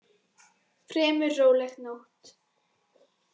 Fremur róleg nótt